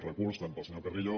recurs tant pel senyor carrillo